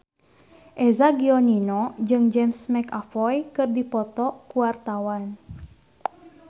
Eza Gionino jeung James McAvoy keur dipoto ku wartawan